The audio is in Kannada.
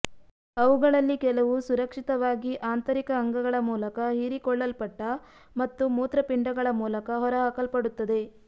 ಅವುಗಳಲ್ಲಿ ಕೆಲವು ಸುರಕ್ಷಿತವಾಗಿ ಆಂತರಿಕ ಅಂಗಗಳ ಮೂಲಕ ಹೀರಿಕೊಳ್ಳಲ್ಪಟ್ಟ ಮತ್ತು ಮೂತ್ರಪಿಂಡಗಳ ಮೂಲಕ ಹೊರಹಾಕಲ್ಪಡುತ್ತದೆ